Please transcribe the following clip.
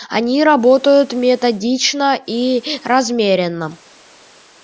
они работают методично и размеренно